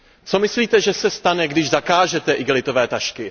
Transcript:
Co myslíte, že se stane, když zakážete igelitové tašky?